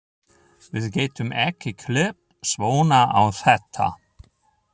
Við getum ekki klippt svona á þetta.